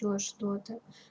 то что-то